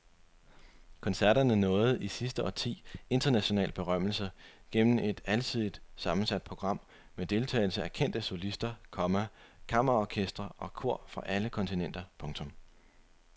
Koncerterne nåede i sidste årti international berømmelse gennem et alsidigt sammensat program med deltagelse af kendte solister, komma kammerorkestre og kor fra alle kontinenter. punktum